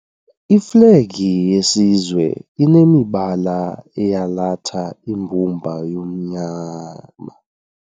Iflegi yesizwe inemibala eyalatha imbumba yomnyama.